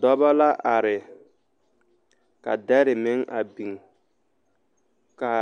Dɔba la are ka dɛre meŋ a biŋ ka